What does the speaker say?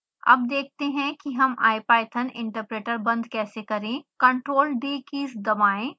अब देखते हैं कि हम ipython interpreter बंद कैसे करें ctrl+d कीज दबाएँ